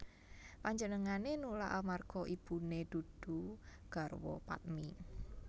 Panjenengané nulak amarga ibuné dudu garwa padmi